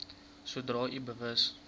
sodra u bewus